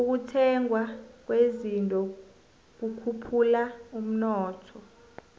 ukuthengwa kwezinto kukhuphula umnotho